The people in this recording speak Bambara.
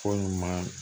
Fɔ ɲuman